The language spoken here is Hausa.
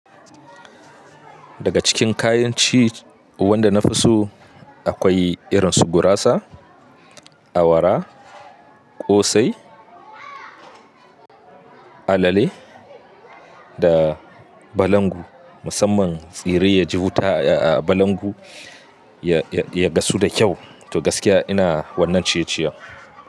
Daga cikin kayan ci wanda na fi so akwai irin su gurasa, awara, ƙosai, alale da balangu. Musamman tsire ya ji wuta a balangu ya, ya, ya gasu da kyau. To gaskiya ina wannan ciye-ciye.